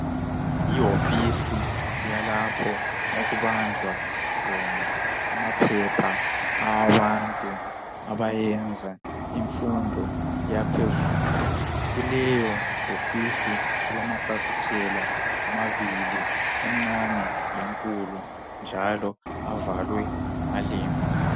Yihofisi yalapho okubanjwa khona amaphepha awabantu abayenza imfundo yaphezulu. Kuleyi hofisi kulamafasitela amabili elincane lelikhulu njalo avalwe ngamalembu.